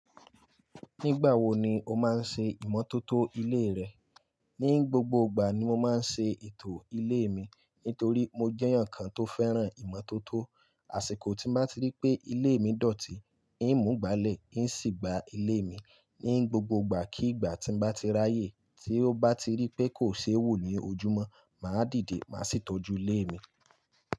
Nígbà wo ni o máa ń ṣe ìmọ́tótó ilé rẹ? Ní gbogbo ìgbà ni mo máa ń ṣe ètò ilé mi, nítorí mo jẹ́ èèyàn kan tó fẹ́ràn ìmọ́tótó. Àṣìkò tí m bá ti rí pé ilé mi dọ̀tí, ń mú ìgbálẹ̀, ń sì gba ilé mi. Ní gbogbo ìgbà kí ìgbà tí m bá ti ráyè tí ó bá ti rí pé kò ṣe wo ní ojúmọ́, mà á dìde, mà á sì tọ́jú ilé mi.